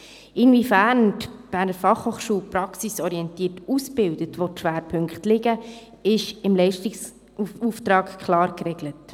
Inwiefern die BFH praxisorientiert ausbildet und wo die Schwerpunkte liegen, ist im Leistungsauftrag klar geregelt.